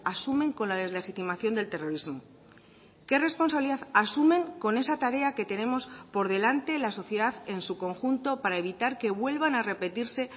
asumen con la deslegitimación del terrorismo qué responsabilidad asumen con esa tarea que tenemos por delante la sociedad en su conjunto para evitar que vuelvan a repetirse